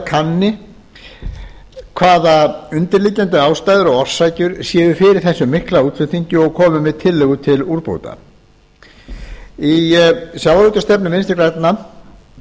kanni hvaða undirliggjandi ástæður og orsakir séu fyrir þessum mikla útflutningi og komi með tillögur til úrbóta í sjávarútvegsstefnu vinstri grænna